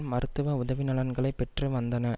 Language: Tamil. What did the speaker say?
மருத்துவ உதவி நலன்களை பெற்று வந்தன